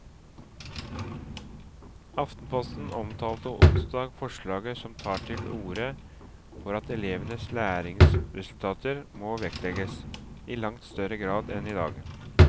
Aftenposten omtalte onsdag forslaget som tar til orde for at elevenes læringsresultater må vektlegges i langt større grad enn i dag.